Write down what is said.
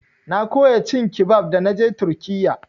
Na koya cin kibab da naje turkiyya.